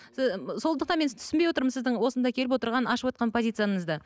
сондықтан мен түсінбей отырмын сіздің осында келіп отырған ашып отырған позицияңызды